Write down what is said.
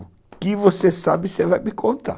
O que você sabe, você vai me contar.